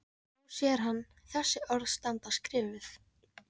Þá sér hann þessi orð standa skrifuð